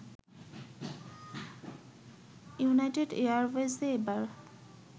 United এয়ারওয়েজে এবার